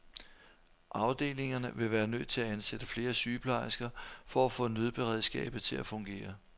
Afdelingerne ville være nødt til at ansætte flere sygeplejersker for at få nødberedskabet til at fungere.